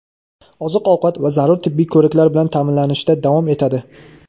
oziq-ovqat va zarur tibbiy ko‘riklar bilan ta’minlanishda davom etadi.